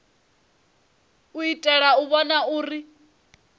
u itela u vhona uri